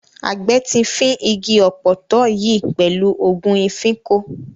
Àgbẹ̀ ti fín igi ọ̀pọ̀tọ́ yìí pẹ̀lú ògùn ìfínko.